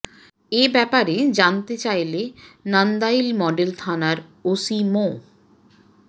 এ ব্যাপারে জানতে চাইলে নান্দাইল মডেল থানার ওসি মো